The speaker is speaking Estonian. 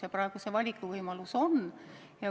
Ja praegu see valikuvõimalus on.